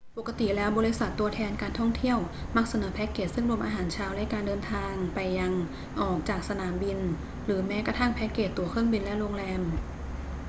ปกติแล้วบริษัทตัวแทนการท่องเที่ยวมักเสนอแพคเกจซึ่งรวมอาหารเช้าและการเดินทางไปยัง/ออกจากสนามบิน หรือแม้กระทั่งแพคเกจตั๋วเครื่องบินและโรงแรม